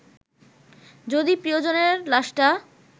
যদি প্রিয়জনের লাশটা